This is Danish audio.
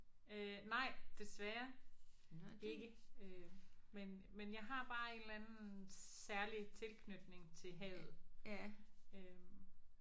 Øh nej desværre ikke øh men men jeg har bare en eller anden særlig tilknytning til havet øh